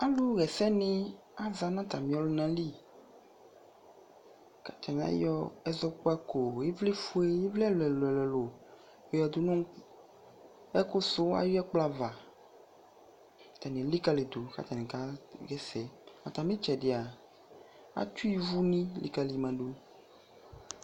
alʋ wɛsɛ ni aza nʋ atami ɔlʋna li, atani ayɔ ɛzɔkpakɔ, ivli ƒʋɛ, ivli ɛlʋɛlʋ yɔdʋnʋ ɛkʋ sʋ ayi ɛkplɔ aɣa, atani ɛlikaliyi dʋ kʋ atani kayɛsɛ ,atami itsɛdia atʋ ivʋni likali ma dʋ